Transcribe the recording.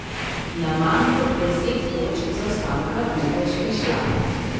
Na manj kot deset točk zaostanka ni več prišla.